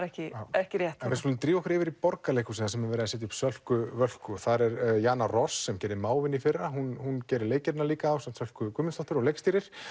ekki ekki rétt já en við skulum drífa okkur yfir í Borgarleikhúsið þar sem er verið að setja upp Sölku Völku og það er Jana Ross sem gerði mávinn í fyrra hún gerði ásamt Sölku Guðmundsdóttur og leikstýrir